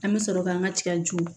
An bɛ sɔrɔ k'an ka tigaju